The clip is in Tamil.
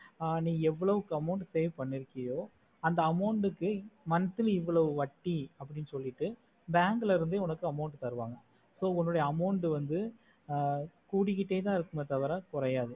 நீ ஏவோலகு amount save பன்னிர்க்கியோ அந்த amount கு monthly இவொளவு வட்டி அப்புடின்னு சொல்லிட்டு bank ல இருந்ததுன்னு ஒரு amount தருவாங்க so உன்னோட amount வந்து குடிக்கிட்டதா இருக்குமே தவிர குறையாது